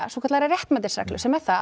svokallaðri réttmætisreglu sem er það